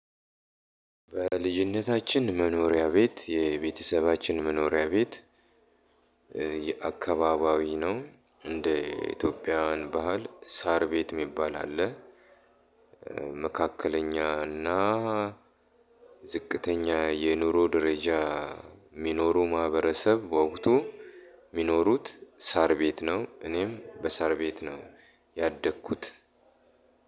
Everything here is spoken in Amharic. በልጅነታችን መኖሪያ ቤት የቤተሰባችን መኖሪያ ቤት የአካባቢያዊ ነው እንደ ኢትዮጵያውያን ባህል ሳር ቤት የሚባል አለ። መካከለኛና ዝቅተኛ የኑሮ ደረጃ የሚኖሩ ማህበረሰብ በወቅቱ የሚኖሩት ሳር ቤት ነው እኔም በሳር ቤት ነው ያደኩት